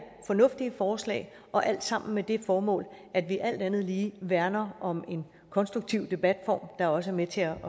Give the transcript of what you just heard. fornuftige forslag og alle sammen med det formål at vi alt andet lige værner om en konstruktiv debatform der også er med til at